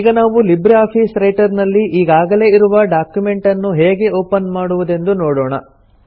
ಈಗ ನಾವು LibreOffice Writer ನಲ್ಲಿ ಈಗಾಗಲೇ ಇರುವ ಡಾಕ್ಯುಮೆಂಟನ್ನು ಹೇಗೆ ಒಪನ್ ಮಾಡುವುದೆಂದು ನೋಡೋಣ